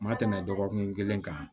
Ma tɛmɛ dɔgɔkun kelen kan